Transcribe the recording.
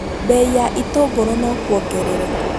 Bei ya itũngũrũ no kuongerereka